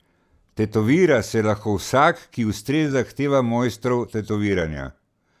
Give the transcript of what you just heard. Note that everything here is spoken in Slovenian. Tetovira se lahko vsak, ki ustreza zahtevam mojstrov tetoviranja.